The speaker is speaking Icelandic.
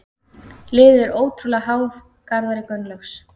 Liðið er ótrúlega háð Garðari Gunnlaugs.